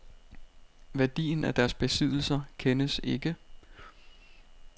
Værdien af deres besiddelser kendes ikke.